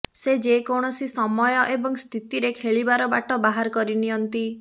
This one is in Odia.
ସେ ଯେ କୌଣସି ସମୟ ଏବଂ ସ୍ଥିତିରେ ଖେଳିବାର ବାଟ ବାହାର କରି ନିଅନ୍ତି